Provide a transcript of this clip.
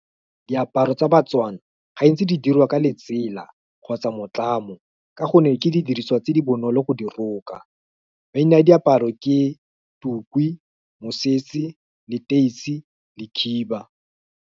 Diaparo tsa baTswana, ga ntse di dirwa ka letsela, kgotsa motlamo, ka gonne ke didiriswa tse di bonolo go di roka, maina a diaparo ke tukwi, mosese, leteisi, le khiba.